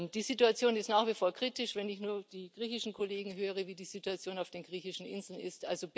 Die Situation ist nach wie vor kritisch, wenn ich nur die griechischen Kollegen höre, wie die Situation auf den griechischen Inseln ist.